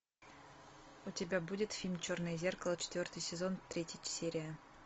у тебя будет фильм черное зеркало четвертый сезон третья серия